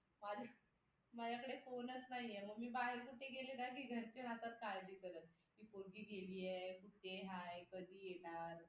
माझ्याकडे phone च नाहीये मग मी बाहेर कुठे गेले ना की घरचे राहतात काळजी करत की पोरगी कुठे गेलीये कुठे आहे कधी येणार